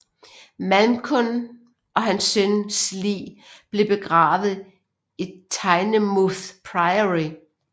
Malcolm og hans søn lig blev begravet i Tynemouth Priory